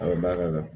A bɛ ba ka